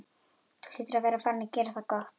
Þú hlýtur að vera farinn að gera það gott!